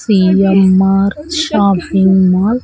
CMR shopping mall .